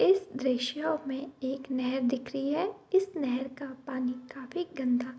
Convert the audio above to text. इस दृश्य में एक नहर दिख रही है इस नहर का पानी काफी गन्दा --